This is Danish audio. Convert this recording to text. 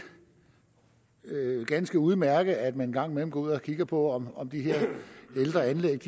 ganske udmærket at man en gang imellem går ud og kigger på om om de her ældre anlæg